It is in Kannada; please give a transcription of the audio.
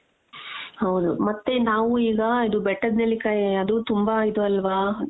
ಹೌದು ಮತ್ತೆ ನಾವು ಈಗ ಬೆಟ್ಟದ ನೆಲ್ಲಿಕಾಯಿ ಅದು ತುಂಬಾ ಇದು ಅಲ್ವಾ .